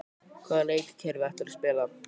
Hvaða leikkerfi ætlarðu að spila?